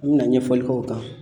N bɛna ɲɛfɔli k'o kan.